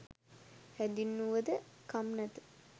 හැඳින්වුව ද කම් නැත.